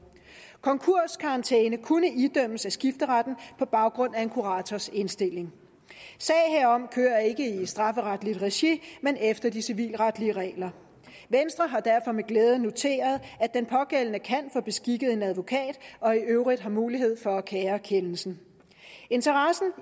konkurskarantæne kunne idømmes af skifteretten på baggrund af en kurators indstilling sager herom kører ikke i strafferetligt regi men efter de civilretlige regler venstre har derfor med glæde noteret at den pågældende kan få beskikket en advokat og i øvrigt har mulighed for at kære kendelsen interessen